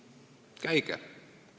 Kui ei ole, siis käige ära!